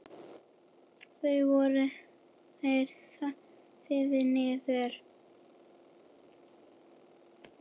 Þá voru þeir settir niður.